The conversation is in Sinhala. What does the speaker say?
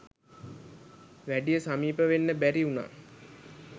වැඩිය සමීප වෙන්න බැරි වුණා